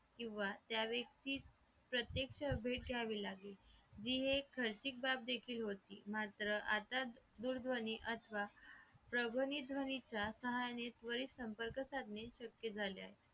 किंवा त्या व्यक्तीस प्रत्यक्ष भेट घ्यावी लागे ही एक खर्चिक बाब देखील होती मात्र आता दूरध्वनी अथवा भ्रमणध्वनी त्वरित संपर्क साधने शक्य झाले आहे